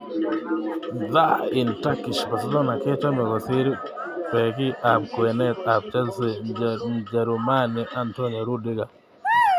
(DHA-in Turkish) Barcelona kochome kosir Beki ab kwenet ab Chelsea, Mjerumani Antonio Rudiger.